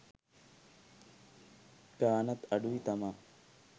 ගාණත් අඩුයි තමා